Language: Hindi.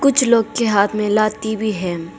कुछ लोग के हाथ में लाठी भी है।